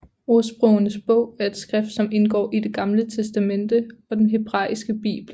Ordsprogenes Bog er et skrift som indgår i Det Gamle Testamente og den hebraiske bibel